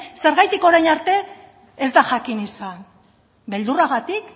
zergatik orain arte ez da jakin izan beldurragatik